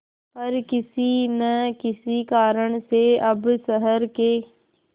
पर किसी न किसी कारण से अब शहर के